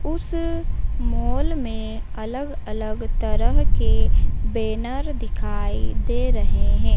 उस मॉल में अलग अलग तरह के बैनर दिखाई दे रहे हैं।